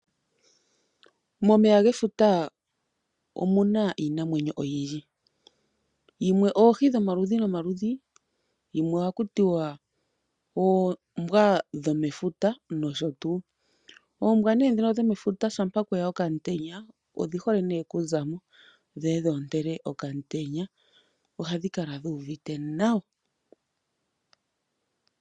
Efuta ohali kala niinamwenyo ya yooloka ngaashi oohi osho wo oombwa dhomo meya . Oombwa dho momeya ngele opuna omutenya odhi hole oku kala tadhi ontele kooha dhefuta.